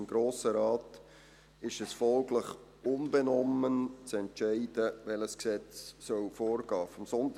Dem Grossen Rat ist es folglich unbenommen zu entscheiden, welches Gesetz vorgehen soll.